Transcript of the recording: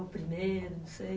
Ou primeiro, não sei.